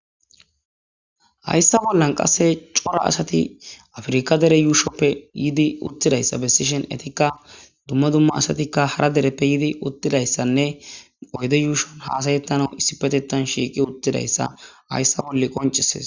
HAyssa bollan qasse cora asati afirika dere yuushoppe yiidi uttidayssa be sishen etikka dumma dumma asatikka hara dereppe yidi uttidayssanne oyde yuushon hasayettana issi petetan shiiqi uttidayssa hayssa bolle qonceses.